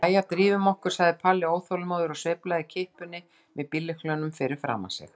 Jæja, drífum okkur! sagði Palli óþolinmóður og sveiflaði kippunni með bíllyklinum fyrir framan sig.